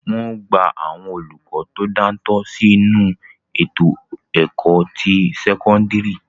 Wọn ó gba àwọn olùkọ tí ó dáńtọ́ sí inú ètò ẹ̀kọ́ ti sẹ́kọ́ńdírì.